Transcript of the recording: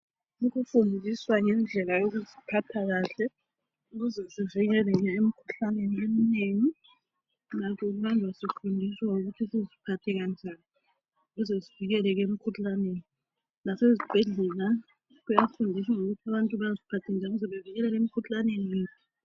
Ukufundiswa ngendlela yokuziphatha kahle .Ukuzesivikeleke emikhuhlaneni eminengi .Lakho manje siyafundiswa ukuthi siziphathe njani Lasezibhedlela abantu bayafundiswa ukuthi baziphathe njani ukuze sivikeleke emkhuhlaneni